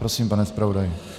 Prosím, pane zpravodaji.